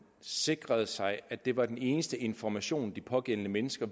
sikrede sig at det var den eneste information de pågældende mennesker